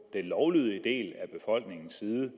den lovlydige del af befolkningens side